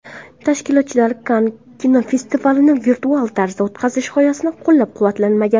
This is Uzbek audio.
Tashkilotchilar Kann kinofestivalini virtual tarzda o‘tkazish g‘oyasini qo‘llab-quvvatlamagan .